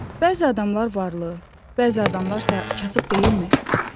Bəzi adamlar varlı, bəzi adamlar isə kasıb deyilmi?